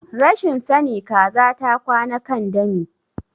Rashin sani Kaza ta kwana kan dami.